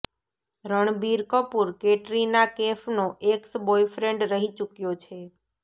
રણબીર કપૂર કેટરીના કૈફનો ex boyfriend રહી ચૂક્યો છે